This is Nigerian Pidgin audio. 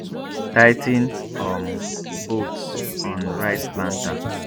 tigh ten um bolts on rice planter